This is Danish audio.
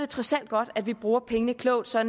trods alt godt at vi bruger pengene klogt så